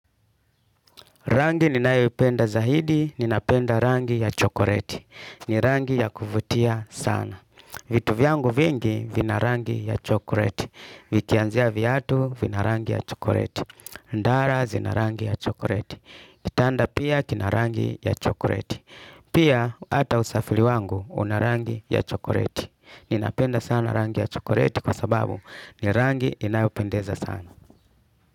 Rangi ninayipenda zaidi, ninapenda rangi ya chokoleti. Ni rangi ya kuvutia sana. Vitu vyangu vingi, vina rangi ya chokoleti. Vikianzia vyatu, vina rangi ya chokoleti. Ndara, zina rangi ya chokoreti. Kitanda pia, kina rangi ya chokoleti. Pia, ata usafiri wangu, una rangi ya chokoleti. Ninapenda sana rangi ya chokoleti kwa sababu, ni rangi inayopendeza sana.